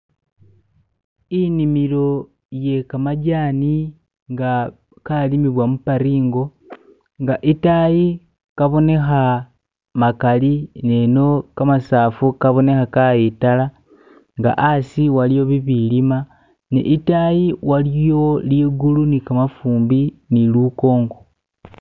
inimilo yekamajani nga kalimibwa muparingo nga itayi kaboneha makali neno kamasafu kaboneha kayitala nga asi waliyo bibilima ne itayi waliyo ligulu ni kamafumbi ni likungu